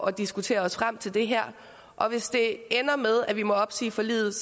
og diskuterer os frem til det her og hvis det ender med at vi må opsige forliget